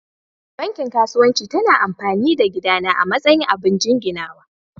Banki kasuwanci ta na amfani da gida na a matsayin abin jinginawa.